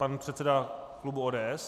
Pan předseda klubu ODS.